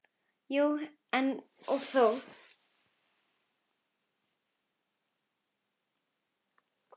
Jú og nei og þó.